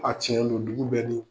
A cɛn don dugu bɛ ni